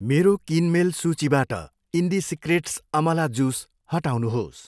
मेरो किनमेल सूचीबाट इन्डिसिक्रेट्स अमला जुस हटाउनुहोस्।